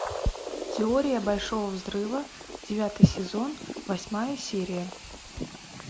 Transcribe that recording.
теория большого взрыва девятый сезон восьмая серия